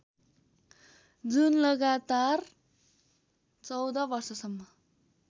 जुन लगातार १४ वर्षसम्म